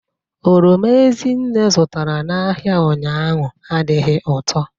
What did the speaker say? Oroma Ezinne zụtara n'ahịa ụnyahụ adịghị ụtọ.